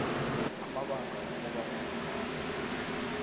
amabanga wokobana kungani